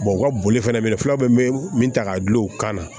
u ka boli fɛnɛ filaw bɛ min ta ka dulon kan